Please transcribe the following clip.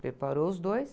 Preparou os dois.